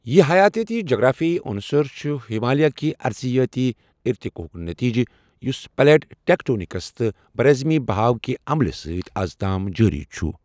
یہِ حیاتیٲتی جغرافیائی عُنصر چھِ ہمالیہ کہ ارضیٲتی ارتقاءُک نتیجہِ یُس پلیٹ ٹیکٹونِکس تہٕ براعظمی بہاو کہ عملہِ سۭتۍ از تام جٲری چھُ۔